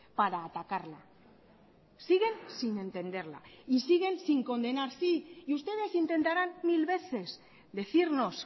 para atacarla siguen sin entenderla y siguen sin condenar sí y ustedes intentarán mil veces decirnos